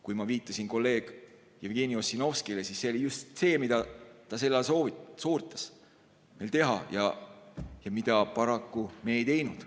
Kui ma viitasin kolleeg Jevgeni Ossinovskile, siis see oli just see, mida ta soovitas meil teha, aga mida me paraku ei teinud.